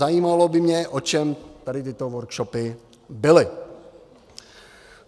Zajímalo by mě, o čem tady tyto workshopy byly.